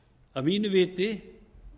að mínu viti